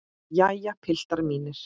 Jæja, piltar mínir!